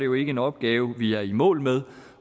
jo ikke en opgave vi er i mål med